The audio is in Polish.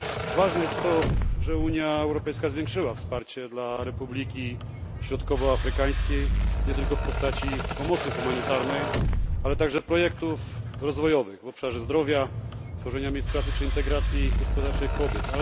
Ważne jest to, że Unia Europejska zwiększyła wsparcie dla Republiki Środkowoafrykańskiej nie tylko w postaci pomocy humanitarnej, ale także projektów rozwojowych w obszarze zdrowia, tworzenia miejsc pracy czy integracji gospodarczej kobiet.